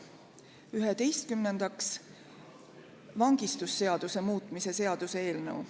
Üheteistkümnendaks, vangistusseaduse muutmise seaduse eelnõu.